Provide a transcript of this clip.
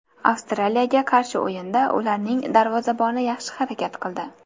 Avstraliyaga qarshi o‘yinda ularning darvozaboni yaxshi harakat qildi.